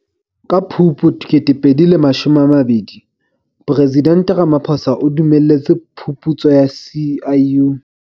Ka Phupu 2020, Presidente Ramaphosa o dumelletse phuputso ya SIU.